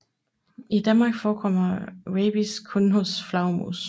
I Danmark forekommer rabies kun hos flagermus